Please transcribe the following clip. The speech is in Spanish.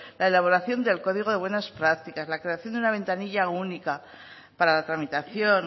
la elaboración del código de buenas prácticas la creación de una ventanilla única para la tramitación